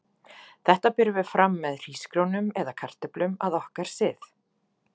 Þetta berum við fram með hrísgrjónum eða kartöflum að okkar sið.